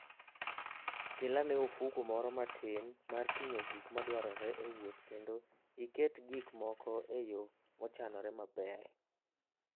Kel ane ofuko moro matin mar ting'o gik madwarore e wuoth kendo iket gik moko e yo mochanore maber.